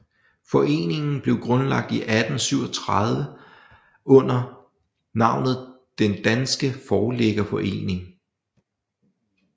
Foreningen blev grundlagt i 1837 under navnet Den Danske Forlæggerforening